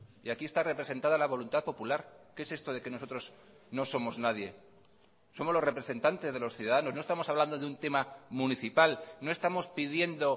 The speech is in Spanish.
y aquí está representada la voluntad popular qué es esto de que nosotros no somos nadie somos los representantes de los ciudadanos no estamos hablando de un tema municipal no estamos pidiendo